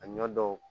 A ɲɔ dɔw